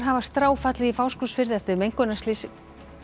hafa stráfallið í Fáskrúðsfirði eftir mengunarslys